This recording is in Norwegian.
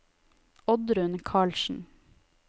Oddrun Karlsen